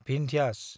भिन्ध्यास